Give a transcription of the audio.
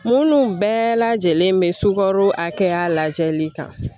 Minnu bɛɛ lajɛlen bɛ sukaro hakɛya lajɛli kan